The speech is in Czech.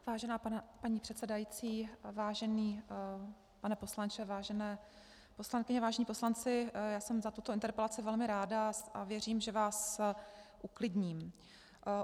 Vážená paní předsedající, vážený pane poslanče, vážené poslankyně, vážení poslanci, já jsem za tuto interpelaci velmi ráda a věřím, že vás uklidním.